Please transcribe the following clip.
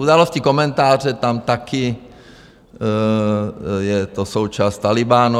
Události, komentáře, tam taky je to součást Tálibánu.